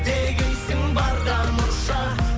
дегейсің барда мұрша